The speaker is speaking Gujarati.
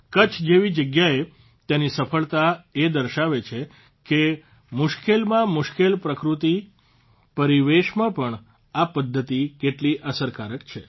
કચ્છ જેવી જગ્યાએ તેની સફળતા એ દર્શાવે છે કે મુશ્કેલમાં મુશ્કેલ પ્રાકૃતિક પરિવેશમાં પણ આ પદ્ધતિ કેટલી અસરકારક છે